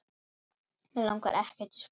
Mig langar ekkert í skóla.